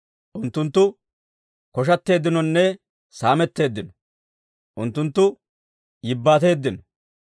Unttunttu koshateeddinonne saametteeddino; unttunttu yibbaateeddino.